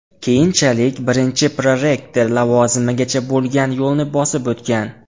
Keyinchalik birinchi prorektor lavozimigacha bo‘lgan yo‘lni bosib o‘tgan.